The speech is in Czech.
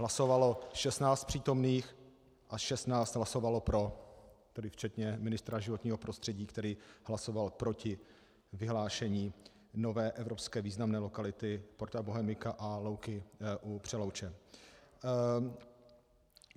Hlasovalo 16 přítomných a 16 hlasovalo pro, tedy včetně ministra životního prostředí, který hlasoval proti vyhlášení nové evropské významné lokality Porta Bohemica a Louky u Přelouče.